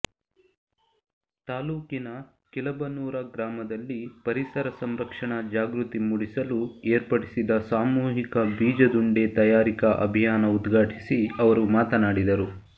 ತಾಲೂಕಿನ ಕಿಲಬನೂರ ಗ್ರಾಮದಲ್ಲಿ ಪರಿಸರ ಸಂರಕ್ಷಣಾ ಜಾಗೃತಿ ಮೂಡಿಸಲು ಏರ್ಪಡಿಸಿದ ಸಾಮೂಹಿಕ ಬೀಜದುಂಡೆ ತಯಾರಿಕಾ ಅಭಿಯಾನ ಉದ್ಘಾಟಿಸಿ ಅವರು ಮಾತನಾಡಿದರು